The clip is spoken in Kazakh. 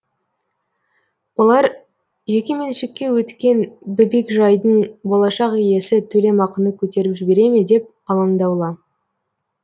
олар жекеменшікке өткен бөбекжайдың болашақ иесі төлемақыны көтеріп жібере ме деп алаңдаулы